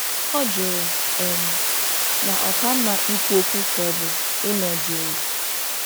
Ọ jụrụ um ma ọ ka mma ikwu okwu ka ọ bụ ịnọ jụụ